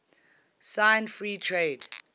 signed free trade